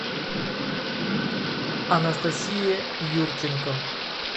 анастасия юрченко